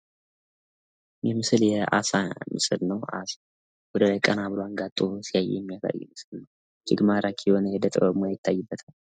ይህ ምስል የ አሳ ምስል ነው። ወደ ቀና ብሎ አንጋጦ ሲያይ የሚያሳይ ምስል ነው። እጅግ ማራኪ የሆነ የ ዕደ ጥበብ ይታይበታል።